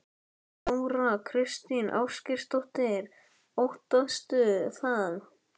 Þóra Kristín Ásgeirsdóttir: Óttastu það?